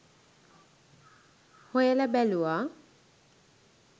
හොයල බැලුවා